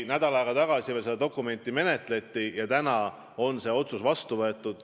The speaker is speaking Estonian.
Nädal aega tagasi seda dokumenti menetleti ja nüüd on otsus vastu võetud.